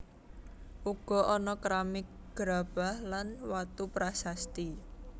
Uga ana keramik gerabah lan watu prasasti